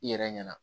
I yɛrɛ ɲɛna